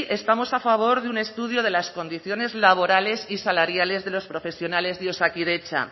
estamos a favor de un estudio de las condiciones laborales y salariales de los profesionales de osakidetza